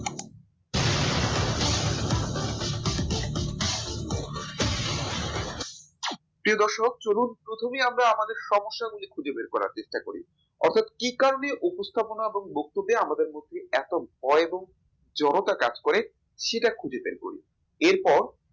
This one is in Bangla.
প্রিয় দর্শক চলুন প্রথমে আমরা আমাদের সমস্যাগুলো খুঁজে বের করার চেষ্টা করি অর্থাৎ কি কারনে উপস্থাপনা এবং বক্তব্যে আমাদের মধ্যে এত ভয় এবং জড়তা কাজ করে সেটা খুঁজে বের করি এরপর